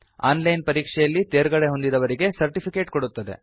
on line ಪರೀಕ್ಷೆಯಲ್ಲಿ ತೇರ್ಗಡೆಹೊಂದಿದವರಿಗೆ certificate ಕೊಡುತ್ತದೆ